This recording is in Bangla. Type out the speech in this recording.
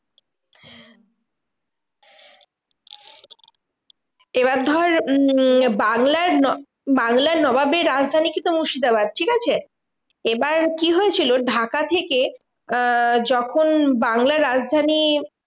এবার ধর উম বাংলার বাংলার নবাবের রাজধানী কিন্তু মুর্শিদাবাদ, ঠিকাছে? এবার কি হয়েছিল? ঢাকা থেকে আহ যখন বাংলার রাজধানী